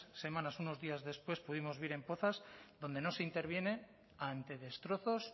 semanas unos días después pudimos ver en pozas donde no se interviene ante destrozos